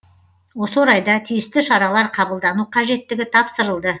осы орайда тиісті шаралар қабылдану қажеттігі тапсырылды